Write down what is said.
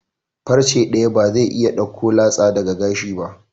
Farce daya ba zai iya dauko latsa daga gashi ba.